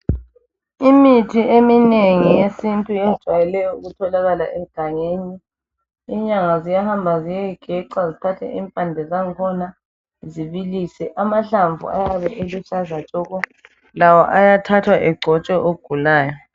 Imithi eminengi yesintu ijwayele ukutholakala egangeni inyanga ziyahamba ziyeyigeca zithathe impande zangkhona zibiliswe. Amahlamvu ayabe eluhlaza tshoko lawo ayathathwa egcotshwe ogulayo.